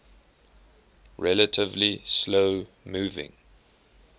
relatively slow moving